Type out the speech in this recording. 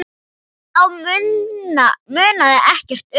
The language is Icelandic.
Þá munaði ekkert um það.